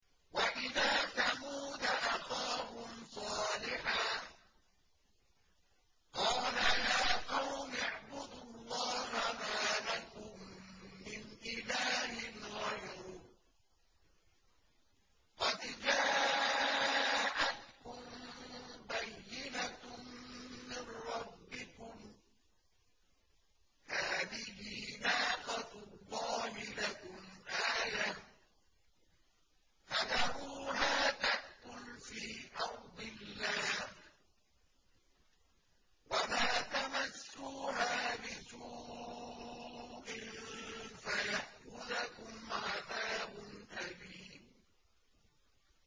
وَإِلَىٰ ثَمُودَ أَخَاهُمْ صَالِحًا ۗ قَالَ يَا قَوْمِ اعْبُدُوا اللَّهَ مَا لَكُم مِّنْ إِلَٰهٍ غَيْرُهُ ۖ قَدْ جَاءَتْكُم بَيِّنَةٌ مِّن رَّبِّكُمْ ۖ هَٰذِهِ نَاقَةُ اللَّهِ لَكُمْ آيَةً ۖ فَذَرُوهَا تَأْكُلْ فِي أَرْضِ اللَّهِ ۖ وَلَا تَمَسُّوهَا بِسُوءٍ فَيَأْخُذَكُمْ عَذَابٌ أَلِيمٌ